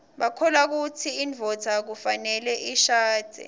bakholwakutsi induodza kufaneleishadze